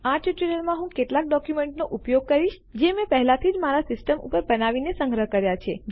આ ટ્યુટોરીયલમાં હું કેટલાક ડોક્યુમેન્ટોનો ઉપયોગ કરીશ જે મેં પહેલાથી જ મારા સિસ્ટમ ઉપર બનાવીને સંગ્રહ કર્યા છે